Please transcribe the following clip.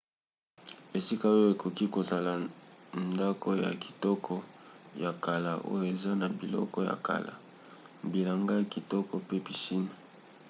esika oyo ekoki kozala ndako ya kitoko ya kala oyo eza na biloko ya kala bilanga ya kikoto pe piscine